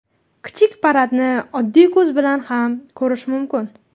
Kichik paradni oddiy ko‘z bilan ham ko‘rish mumkin.